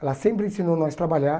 Ela sempre ensinou nós trabalhar.